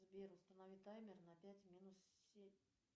сбер установи таймер на пять минус семь